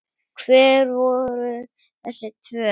Hver voru þessi tvö?